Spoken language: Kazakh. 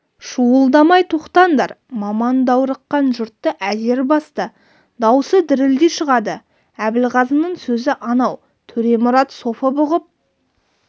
шуылдамай тоқтаңдар маман даурыққан жұртты әзер басты даусы дірілдей шығады әбілғазының сөзі анау төремұрат софы бұғып